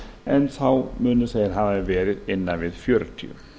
en þeir munu hafa verið innan við fjörutíu